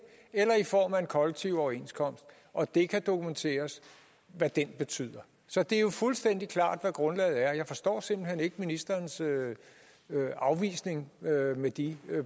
eller i form af en kollektiv overenskomst og det kan dokumenteres hvad den betyder så det er jo fuldstændig klart hvad grundlaget er jeg forstår simpelt hen ikke ministerens afvisning med de